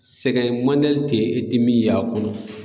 Sɛgɛn tɛ ye e ti min ya a kɔnɔ.